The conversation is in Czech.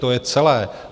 To je celé.